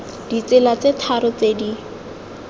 ditsela tse tharo tse di